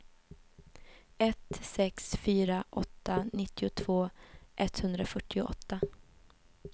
ett sex fyra åtta nittiotvå etthundrafyrtioåtta